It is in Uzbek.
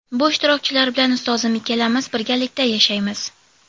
Bu ishtirokchilar bilan ustozim ikkalamiz birgalikda ishlaymiz.